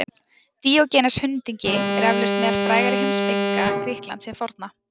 Díógenes hundingi er eflaust meðal frægari heimspekinga Grikklands hins forna.